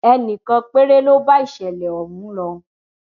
ẹnì kan péré ló bá ìṣẹlẹ ọhún lọ